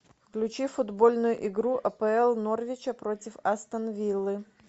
включи футбольную игру апл норвича против астон виллы